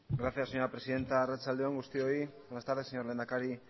gracias señora presidenta arratsalde on guztioi buenas tardes señor lehendakari